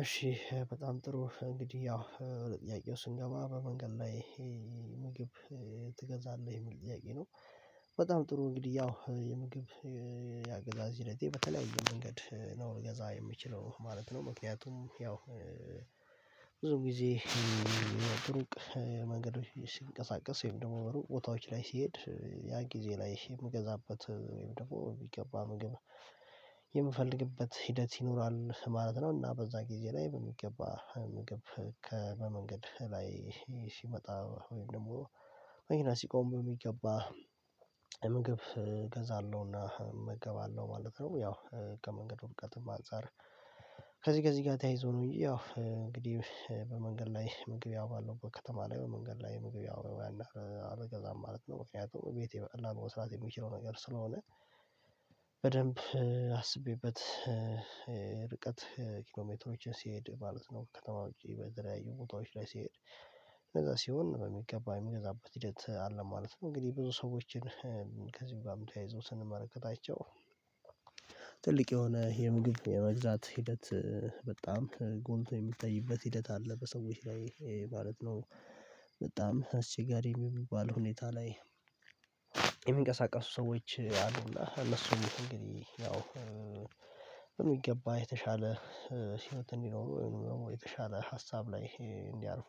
እሺ በጣም ጥሩ እንግዲህ ያው ወደ ጥያቄው ስንገባ በመንገድ ላይ ምግብ ትገዛለህ የሚል ጥያቄ ነው? በጣም ጥሩ እንግዲህ ያው የምግብ ያገዛዝ ሂደቴ በተለያየ መንገድ ነው ልገዛ የምችለው ማለት ነው። ምክንያቱም ያው ብዙም ጊዜ እሩቅ መንገዶች ሲንቀሳቀስ ወይም ደግሞ ቦታዎች ላይ ሲሄድ ያ ጊዜ ላይ የምገዛበት ወይም ደግሞ የሚገባ ምግብ የምፈልግበት ሂደት ይኖራል ማለት ነው። እና በዛ ጊዜ ላይ በሚገባ ምግብ ከበመንገድ ላይ ሲመጣ ወይም ደግሞ መኪና ሲቆም በሚገባ ምግብ እገዛለሁና እመገባለሁ ማለት ነው። ያው ከመንገዱ ርቀትም አንፃር ከዚህ ከዚህ ጋር ተያይዞ ነው። ያው እንግዲህ በመንገድ ላይ ምግብ ያው ያለበት ከተማ ላይ በመንገድ ላይ ምግብ ያው ያን ያህል አልገዛም ማለት ነው። ምክንያቱም ቤቴ በቀላሉ መስራት የምችለው ነገር ስለሆነ በደንብ አስቤበት ርቀት ኪሎሜትሮችን ሲሄድ ማለት ነው ከተማዎች በተለያዩ ቦታዎች ላይ ሲሄድ ከዛ ሲሆን በሚገባ የሚገዛበት ሂደት አለ ማለት ነው። እንግዲህ ብዙ ሰዎችን ከዚዙም ጋም ተያይዘው ስንመለከታቸው ትልቅ የሆነ የምግብ የመግዛት ሂደት በጣም ጎልቶ የሚታይበት ሂደት አለ በሰዎች ላይ ማለት ነው። በጣም አስቸጋሪ የሚባል ሁኔታ ላይ የሚንቀሳቀሱ ሰዎች አሉና ለሱ እንግዲህ ያው የሚገባ የተሻለ ሲመት እንዲኖረው ወይም ደግሞ የተሻለ ሀሳብ ላይ እንዲያልፉ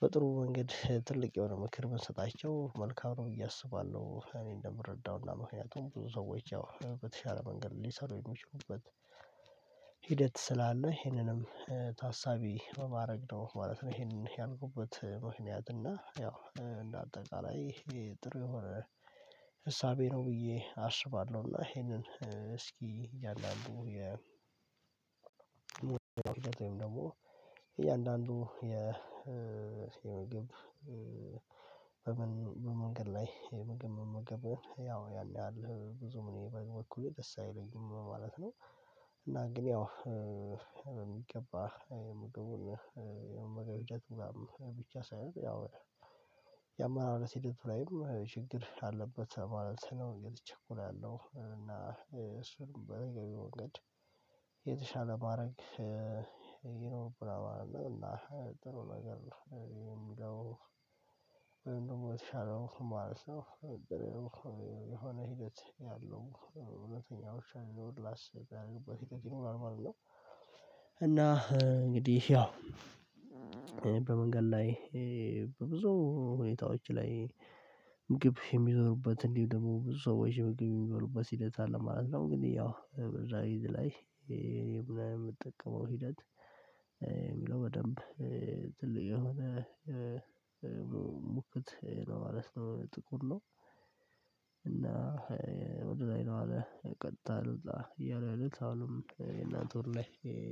በጥሩ መንገድ ትልቅ የሆነ ምክር ብንሰጣቸው መልካም ነው ብየ እያሰባለሁ እኔ እንደምረዳው እና ምክንያቱም ብዙ ሰዎች ያው በተሻለ መንገድ ሊሰሩ የሚችሉበት ሂደት ስላለ ይሄንንም ታሳቢ በማድረግ ነው ማለት ነው። ይሄንን ያደረጉበት ምክንያት እና ያው እንደ አጠቃላይ ጥሩ የሆነ እሳቤ ነው ብዬ አስባለሁ። እና ይሄንን እስኪ እያንዳንዱ የ ደግሞ እያንዳንዱ የ መግብ በመንገድ ላይ ምግብ መመገበው ያው ያን ያህል ብዙም እኔ በበኩሌ ደስ አይለኝም ማለት ነው። እና ግን ያው በሚገባ ምግቡን የመገገብጀት ምናምን ብቻ ሳይሆን ያው የአማራረት ሂደቱ ላይም ችግር አለበት ማለት ነው የተቸኩላለው እና እሱንም በየ መንገድ የተሻለ ማድረግ ይኖርብላል ማለት ነው። እና ጥሩ ነገር ነው የሚለው ወይም ደግሞ የተሻለው ማለት ነው። የሆነ ሂደት ያለው እውነተኛዎች አሉ እና እና እንግዲህ ያው በመንገድ ላይ በብዙ ሁኔታዎች ላይ ግብ የሚዞሩበት እንዲሁም ደግሞ ብዙ ሰዎች ህይወት የሚመሩበት ሂደት አለ ማለት ነው። ግን ያው ብዙ ሰው ላይ የምጠቀመው ሂደት የሚለው በደንብ ትልቅ የሆነ ሙክት ለማለት ነው ጥቁር ነው። እና ወደ ላይ ነው አለ ቀጥታ ነው እያሉ አሉ አሁንም የእናንተ ወር ላይ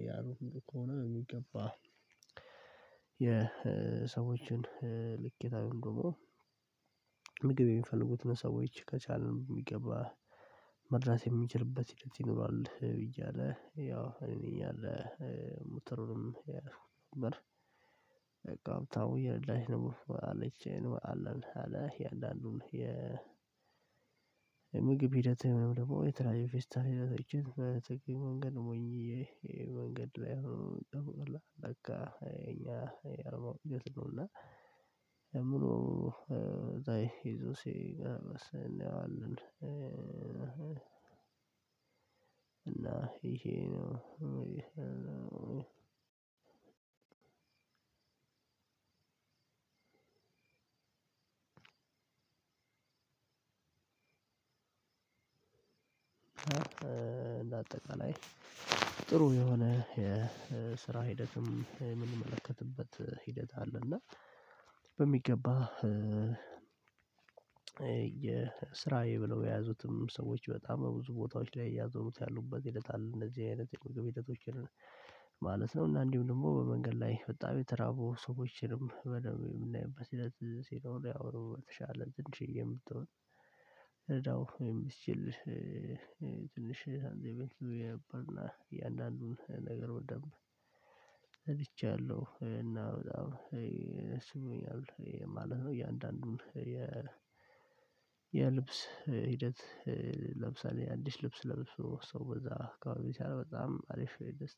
ያሉ ሙሉ ከሆነ የሚገባ የሰዎችን ልክ የታውን ደግሞ ምግብ የሚፈልጉትን ሰዎች ከቻልን የሚገባ መድረስ የሚችልበት ሂደት ይኖራል። ብዬ አለ ያው እኔ እያለ ነበር በቃ ቦታው የረዳች ነበር አለች አለን አለ የእያንዳንዱን ምግብ ሂደት ደግሞ የትራንቬስታሊነት እቺን መንገድ ሞኝዬ መንገድ ላይ ነው የምትጠራው እና እኛ አልማው ነው እና ሙሉ ዛይ ይዞ ሲገለብስ እንያዋለን አሉን እና ይሄ ነው። እንደ አጠቃላይ ጥሩ የሆነ የስራ ሂደትም የምንመለከትበት ሂደት አለ። እና በሚገባ የስራዬ ብለው የያዙትም ሰዎች በጣም በብዙ ቦታዎች ላይ እያዞሩት ያሉበት ይሉታል እንደዚህ አይነት ህይወት ህይወቶችን ማለት ነው። እና እንዲሁ ደግሞ በመንገድ ላይ በጣም የተራቡ ሰዎችንም በደንብ የምናይበት ሂደት ሲኖር ያው የተሻለ ትንሽዬ የምትሆን እዳው የምትችል ትንሽ አንድ ቤት የነበረና እያንዳንዱን ነገር በደንብ ረድቻለሁ እና በጣም ይሄ ስሙኛል ማለት ነው። እያንዳንዱን የ የልብስ ሂደት ለምሳሌ አንዲት ልብስ ለብሶ ሰው በዛ ካልሆነ በጣም አሪፍ ነው።